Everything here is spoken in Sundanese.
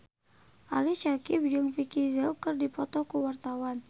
Ali Syakieb jeung Vicki Zao keur dipoto ku wartawan